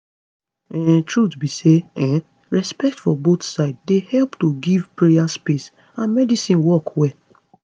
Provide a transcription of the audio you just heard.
um truth be say um respect for both side dey help to give prayer space and medicine work well